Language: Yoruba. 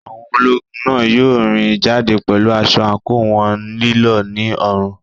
Àwọn ológun náà yóò rìn jáde pẹ̀lú aṣọ àǹkóò wọn lílọ̀ ní ọrùn.